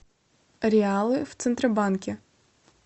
реалы в центробанке